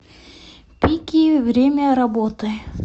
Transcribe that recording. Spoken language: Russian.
пики время работы